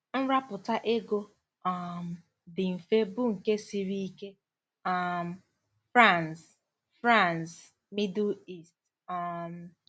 Nrapụta ego um dị mfe bụ nke siri ike. ” um — Franz, — Franz, Middle East. um